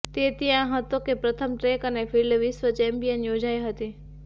તે ત્યાં હતો કે પ્રથમ ટ્રેક અને ફિલ્ડ વિશ્વ ચેમ્પિયનશિપ યોજાઇ હતી